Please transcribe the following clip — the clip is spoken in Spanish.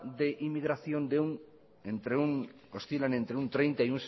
de inmigración oscilan entre un treinta